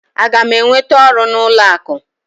Aga m enweta ọrụ n'ụlọ akụ?